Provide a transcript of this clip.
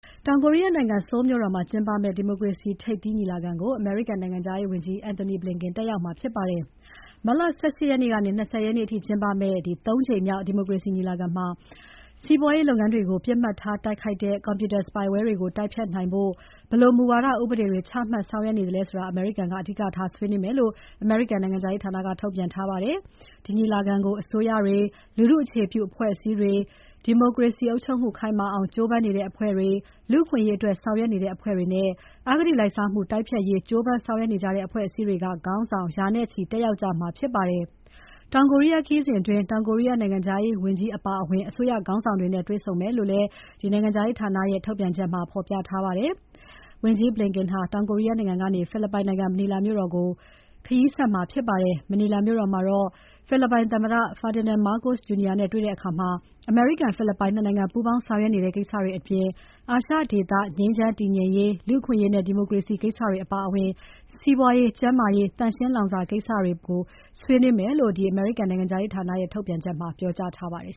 တောင်ကိုရီးယားနိုင်ငံ Seoul မြို့တော်မှာ ကျင်းပမယ့် ဒီမိုကရေစီ ထိပ်သီးညီလာခံကို အမေရိကန်နိုင်ငံခြားရေးဝန်ကြီး Antony Blinken တက်ရောက်မှာဖြစ်ပါတယ်။ မတ်လ ၁၈ ရက်နေ့ကနေ ၂၀ ရက်နေ့အထိကျင်းပမယ့် ၃ ကြိမ်မြောက် ဒီမိုကရေစီညီလာခံမှာ စီးပွားရေးလုပ်ငန်းတွေကို ပစ်မှတ်ထားတိုက်ခိုက်တဲ့ Computer spyware တွေကို တိုက်ဖျက်နိုင်ဖို့ ဘယ်လိုမူဝါဒ ဥပဒေတွေချမှတ်ဆောင်ရွက်နေသလဲဆိုတာ အမေရိကန်က အဓိကထားဆွေးနွေးမယ်လို့ အမေရိကန်နိုင်ငံခြားရေးဌာနက ထုတ်ပြန်ထားပါတယ်။ ဒီညီလာခံကို အစိုးရတွေ၊ လူထုအခြေပြုအဖွဲ့အစည်းတွေ၊ ဒီမိုကရေစီအုပ်ချုပ်မှု ခိုင်မာအောင် ကြိုးပမ်းနေတဲ့ အဖွဲ့တွေ၊ လူအခွင့်အရေးအတွက်ဆောင်ရွက်နေတဲ့ အဖွဲ့တွေနဲ့ အဂတိလိုက်စားမှုတိုက်ဖျက်ရေး ကြိုးပမ်းဆောင်ရွက်နေကြတဲ့ အဖွဲ့အစည်းတွေက ခေါင်းဆောင် ရာနဲ့ချီတက်ရောက်ကြမှာဖြစ်ပါတယ်။ တောင်ကိုရီးယားခရီးစဉ်အတွင်း တောင်ကိုရီးယား နိုင်ငံခြားရေးဝန်ကြီး Cho Tae-yul အပါအဝင် အစိုးရခေါင်းဆောင်တွေနဲ့ တွေ့ဆုံမယ်လို့ နိုင်ငံခြားရေးဌာနရဲ့ ထုတ်ပြန်ချက်မှာ ဖော်ပြထားပါတယ်။ တောင်ကိုရီးယားနိုင်ငံကနေ ဖိလစ်ပိုင်နိုင်ငံ မနီလာမြို့တော်ကို ဝန်ကြီး Blinken ခရီးဆက်မှာဖြစ်ပါတယ်။ မနီလာမြို့တော်မှာ ဖိလစ်ပိုင်သမ္မတ Ferdinand Marcos Jr. နဲ့တွေ့ဆုံတဲ့အခါ အမေရိကန် ဖိလစ်ပိုင် ၂ နိုင်ငံ ပူးပေါင်းဆောင်ရွက်နေတဲ့ ကိစ္စတွေအပြင် အာရှဒေသ ငြိမ်းချမ်းတည်ငြိမ်ရေး၊ လူ့အခွင့်အရေးနဲ့ ဒီမိုကရေစီကိစ္စတွေအပါအဝင် စီးပွားရေး၊ ကျန်းမာရေး သန့်ရှင်းလောင်စာကိစ္စတွေ ပါဝင်မယ်လို့ နိုင်ငံခြားရေးဌာနရဲ့ ထုတ်ပြန်ချက်မှာ ပြောကြားထားပါတယ်